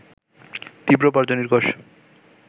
তীব্র বজ্র নির্ঘোষ